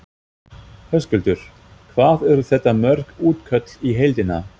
Höskuldur: Hvað eru þetta mörg útköll í heildina?